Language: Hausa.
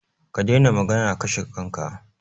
Ka daina maganan kashe kanka!